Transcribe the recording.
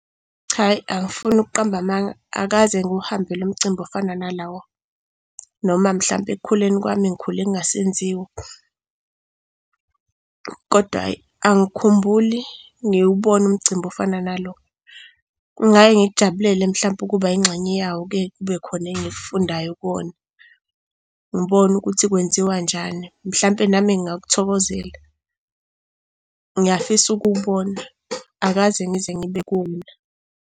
Cha, ayi angifuni ukuqamba amanga, akaze ngiwuhambe lo mcimbi ofana nalowo, noma mhlampe ekukhuleni kwami ngikhule kungasenziwa. Kodwa hhayi, angikhumbuli ngiwubone umcimbi ofana nalo. Kungaye ngikujabulele mhlampe ukuba yingxenye yawo kuye kube khona engikufundayo kuwona, ngibone ukuthi kwenziwanjani. Mhlampe nami ngingakuthokozela, ngiyafisa ukuwubona. Akaze ngize ngibe kuwona.